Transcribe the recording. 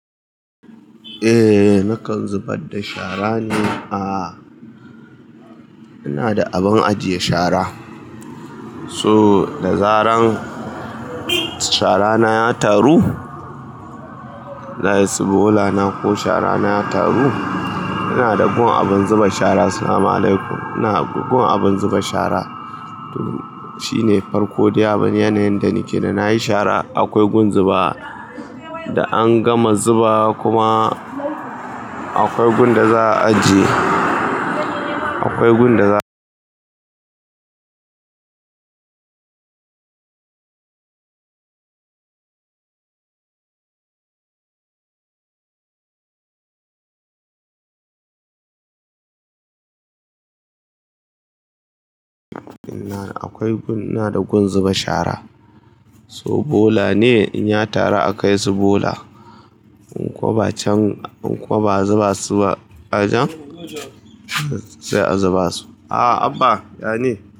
Eh, nakan zubar da shara ne. Aa, ina da abun ajiye shara. So da zaran shara na ya taru, na iya si bola na ko shara na ya taru, ina da gun abun zuba shara. Salam alaikum. Ina da gun abun zuba shara. Shi ne farko dai abin yanayin da nike da na yi shara. Akwai gun zubawa da an gama zubawa kuma akwai gun da za a ajiye. Akwai gun da za Akwai gun, ina da gun zuba shara. So bola ne in ya taru a kai su bola. In kuwa ba can, in kuwa ba a zuba su ba ajen, sai a zuba su. Ah Abba, ya ne.